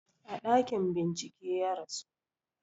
A ɗakin bincike ya rasu